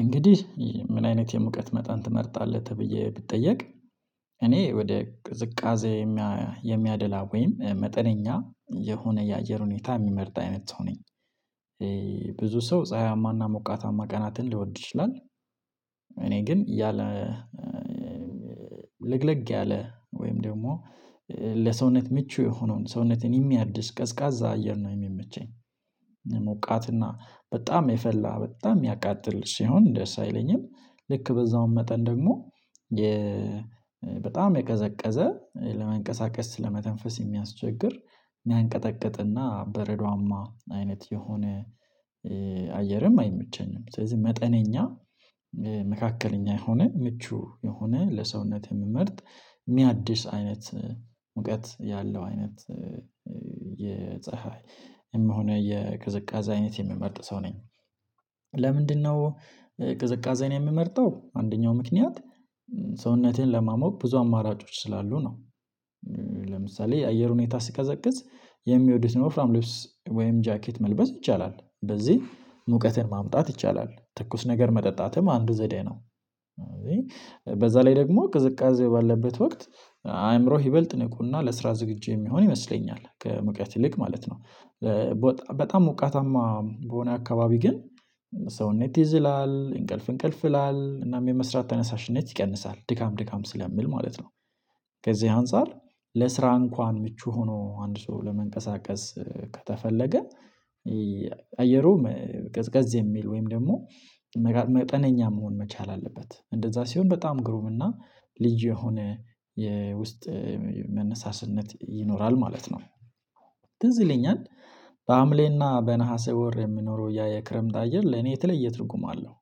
እንግዲህ ምን አይነት የሙቀት መጠን ትመርጣለህ ተብዬ ብትጠየቅ? እኔ ወደ ቅዝቃዜ የሚያደላ ወይም መጠነኛ የሆነ የአየር ሁኔታ ሚመርጥ አይነት ሰው ነኝ። ብዙ ሰው ፀሀያማና ሞቃታማ ቀናትን ልወድ ይችላል። እኔ ግን ያለ ለግለግ ያለ ወይም ደግሞ ለሰውነት ምቹ የሆነውን ሰውነትን የሚያድሽ ቀዝቃዛ አየር ነው የሚመቸኝ። ሞቃትና በጣም የፈላ በጣም ሚያቃጥል ሲሆን ደስ አይለኝም። ልክ በዛውም መጠን ደግሞ በጣም የቀዘቀዘ ለመንቀሳቀስ ለመተንፈስ የሚያስቸግር። ሚያንቀጠቅጥና በረዷማ አይነት የሆነ አየርም አይመቸኝም። ስለዚህ መጠነኛ መካከለኛ የሆነ ምቹ የሆነ ለሰውነት ምመርጥ ሚያድስ አይነት ሙቀት ያለው አይነት የፀሀይ ይም ሆነ የቅዝቃዜ አይነት የምመርጥ ሰው ነኝ። ለምንድነው? ቅዝቃዜን የምመርጠው አንደኛው ምክንያት ሰውነቴን ለማሞቅ ብዙ አማራጮች ስላሉ ነው። ለምሳሌ የአየር ሁኔታ ስቀዘቅዝ የሚወዱትን ወፍራም ልብስ ወይም ጃኬት መልበስ ይቻላል በዚህ ሙቀትን ማምጣት ይቻላል ትኩስ ነገር መጠጣትም አንዱ ዘዴ ነው። በዛ ላይ ደግሞ ቅዝቃዜው ባለበት ወቅት አእምሮህ ይበልጥ ንቁና ለስራ ዝግጁ የሚሆን ይመስለኛል ከሙቀት ይልቅ ማለት ነው። በጣም ሞቃታማ በሆነ አካባቢ ግን ሰውነት ይዝላል እንቅልፍ እንቅልፍ ይላል እናም የመስራት ተነሳሽነት ይቀንሳል ድካም ድካም ስለሚል ማለት ነው። ከዚህ አንፃር ለስራ እንኳን ምቹ ሆኖ አንድ ሰው ለመንቀሳቀስ ከተፈለገ አየሩ ቀዝቀዝ የሚል ወይም ደግሞ መጠነኛ መሆን መቻል አለበት እንደዛ ሲሆን በጣም ግሩም እና ልዩ የሆነ የውስጥ መነሳስነት ይኖራል ማለት ነው። ትዝ ይለኛል በአምሌና በነሀሰ ወር የምኖረው ያ የክረምት አየር ለኔ የተለየ ትርጉም አለው።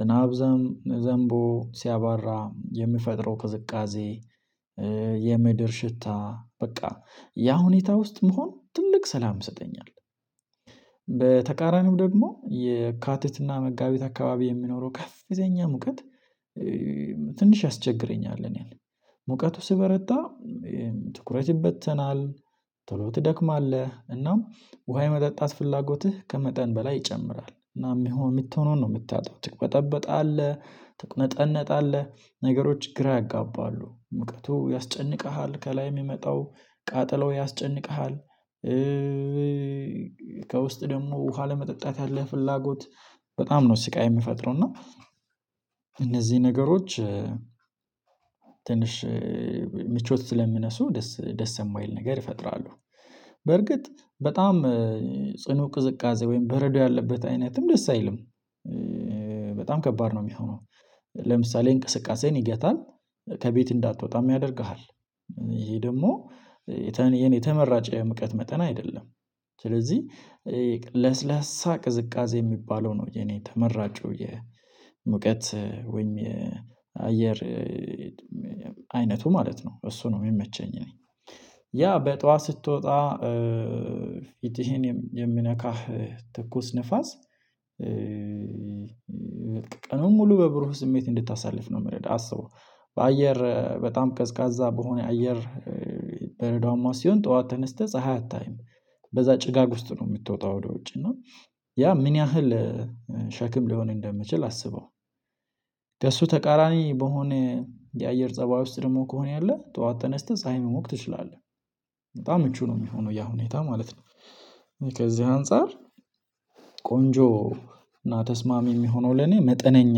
ዝናብ ዘምቦ ሲያባራ የምፈጥረው ቅዝቃዜ የምድር ሽታ በቃ ያ ሁኔታ ውስጥ መሆን ትልቅ ሰላም ይሰጠኛል። በተቃራኒው ደግሞ የካትትና መጋቢት አካባቢ የሚኖረው ከፍተኛ ሙቀት። ትንሽ ያስቸግረኛል እኔን ሙቀቱ ስበረታ ትኩረት ይበተናል። ቶሎ ትደክማለህ እናም ውሃ የመጠጣት ፍላጎትህ ከመጠን በላይ ይጨምራል እናም ይሁን ምትሆነውን ነው ምታጣው ትቅበጠበጣለህ ትቁነጠነጣለህ ነገሮች ግራ ያጋባሉ ምቅቱ ያስጨንቅሃል ከላይ ሚመጣው ቃጠሎው ያስጨንቅሃል። ከውስጥ ደግሞ ውሃ ለመጠጣት ያለህ ፍላጎት በጣም ነው ስቃይ ሚፈጥረው እና እነዚህ ነገሮች ትንሽ ምቾት ስለሚነሱ ደስ ደስ ማይል ነገር ይፈጥራሉ። በርግጥ በጣም ጽኑ ቅዝቃዜ ወይም በረዶ ያለበት አይነትም ደስ አይልም። በጣም ከባድ ነው ሚሆነው ለምሳሌ እንቅስቃሴን ይገታል ከቤት እንዳትወጣም ያደርግሃል። ይሄ ደግሞ ተመራጨ የሙቀት መጠን አይደለም። ስለዚህ ለስላሳ ቅዝቃዜ ሚባለው ነው የኔ ተመራጩ የሙቀት ወይም የአየር አይነቱ ማለት ነው። እሱ ነው ሚመቸኝ። እኔ ያ ጧት ስትወጣ ፊትህን የሚነካህ ትኩስ ንፋስ። ቀኑን ሙሉ በብሩህ ስሜት እንድታሳልፍ ነው ምረዳህ አስበው በአየር በጣም ቀዝቃዛ በሆነ አየር በረዷማ ሲሆን ጠዋት ተነስተህ ፀሀይ አታይም። በዛ ጭጋግ ውስጥ ነው ምትወጣው ወደ ውጭ እና ያ ምን ያህል ሸክም ሊሆን እንደምችል አስበው። ከእሱ ተቃራኒ በሆነ የአየር ፀባይ ውስጥ ደግሞ ከሆነ ያለ ጠዋት ተነስተህ ፀሀይ መሞቅ ትችላለህ በጣም ምቹ ነው ሚሆነው ያ ሁኔታ ማለት ነው። ከዚህ አንፃር ቆንጆ እና ተስማሚ ሚሆነው ለኔ መጠነኛ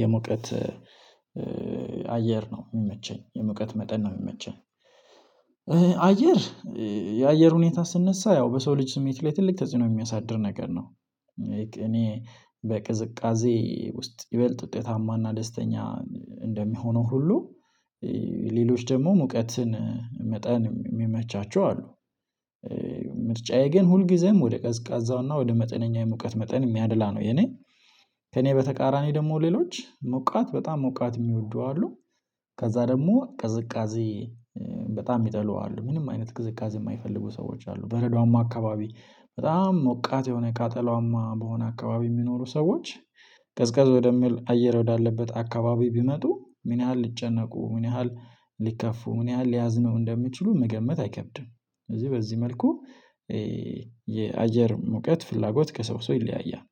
የሙቀት አየር ነው ሚመቸኝ የሙቀት መጠን ነው ሚመቸኝ። አየር የአየር ሁኔታ ስነሳ ያው በሰው ልጅ ስሜት ላይ ትልቅ ተጽኖ የሚያሳድር ነገር ነው። እኔ በቅዝቃዜ ውስጥ ይበልጥ ውጤታማና ደስተኛ እንደሚሆነው ሁሉ ሌሎች ደግሞ ሙቀትን መጠን ሚመቻቸው አሉ። ምርጫዬ ግን ሁልጊዜም ወደ ቀዝቃዛውና ወደ መጠነኛ የሙቀት መጠን ሚያደላ ነው የኔ። ከኔ በተቃራኒ ደግሞ ሌሎች ሞቃት በጣም ሞቃት ሚወዱ አሉ። ከዛ ደግሞ ቅዝቃዜ በጣም ሚጠሉ አሉ ምንም አይነት ቅዝቃዜ ማይፈልጉ ሰዎች አሉ በረዷማ አካባቢ በጣም ሞቃት የሆነ ካጠላዋማ በሆነ አካባቢ ሚኖሩ ሰዎች ቀዝቀዝ ወደ ሚል አየር ወዳለበት አካባቢ ቢመጡ ምን ያህል ልጨነቁ ምን ያህል ሊከፉ ምን ያህል ሊያዝነው እንደምችሉ መገመት አይከብድም ስለዚህ በዚህ መልኩ። የአየር ሙቀት ፍላጎት ከሰው ሰው ይለያያል